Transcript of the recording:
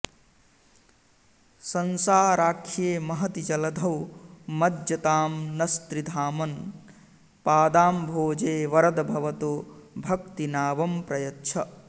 संसाराख्ये महति जलधौ मज्जतां नस्त्रिधामन् पादाम्भोजे वरद भवतो भक्तिनावं प्रयच्छ